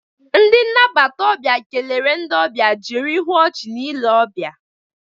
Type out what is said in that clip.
Ndi nnabata obia kelere ndị ọbịa jiri ihu ọchị na ile ọbịa